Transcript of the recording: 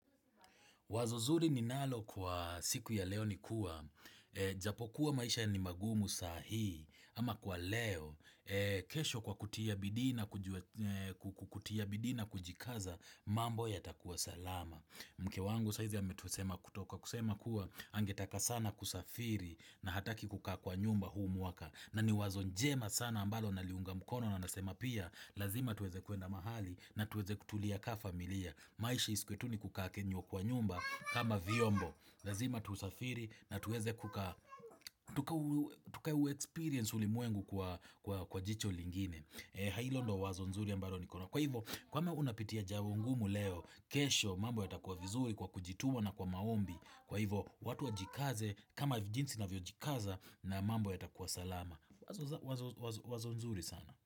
Wazo zuri ni nalo kwa siku ya leo ni kuwa. Japo kuwa maisha ni magumu sahi ama kwa leo kesho kwa kutia bidi na kujikaza mambo yatakuwa salama. Mke wangu saizi ametusema kutoka kusema kuwa angetaka sana kusafiri na hataki kukaa kwa nyumba huu mwaka na ni wazo jema sana ambalo naliunga mkono na nasema pia lazima tuweze kuenda mahali na tuweze kutulia kaa familia. Maisha isikue tu nikukaa kaa kwa nyumba kama vyombo. Lazima tusafiri na tuweze kukaa. Tuka uexperience ulimwengu kwa jicho lingine. Halo ndio wazo nzuri ambalo nikono nalo. Kwa hivyo, kama unapitia jambo ngumu leo, kesho, mambo ya takuwa vizuri kwa kujituma na kwa maombi. Kwa hivo, watu wajikaze kama jinsi ninavyo jikaza na mambo ya takuwa salama. Wazo nzuri sana.